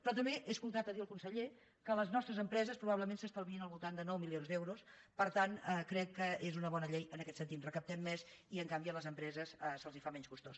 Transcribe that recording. però també he escoltat dir al conseller que les nostres empreses probablement s’estalviïn al voltant de nou milions d’euros per tant crec que és una bona llei en aquest sentit recaptem més i en canvi a les empreses se’ls fa menys costós